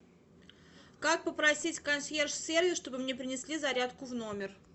как попросить консьерж сервис чтобы мне принесли зарядку в номер